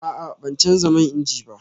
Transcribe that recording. A'a, ban canza man inji ba